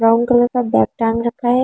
Brown colour का bag टांग रखा है।